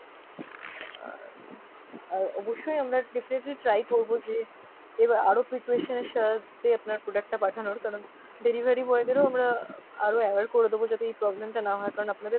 আর আর অবশ্যই আমরা definitely try করবো যে এবার আরও preparation এর সাথে আপনার product টা পাঠানোর কারণ delivery boy দেরও আমরা আরো aware করে দেবো যাতে এই problem টা না হয় কারণ আপনাদের